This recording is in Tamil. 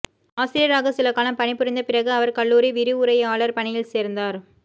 ஆசிரியராக சில காலம் பணிபுரிந்த பிறகு அவர் கல்லூரி விரிவுரையாளர் பணியில் சேர்ந்தார்